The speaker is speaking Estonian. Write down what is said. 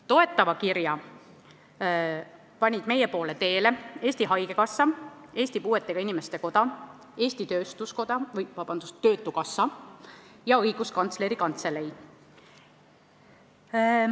Toetava kirja panid meie poole teele Eesti Haigekassa, Eesti Puuetega Inimeste Koda, Eesti Töötukassa ja Õiguskantsleri Kantselei.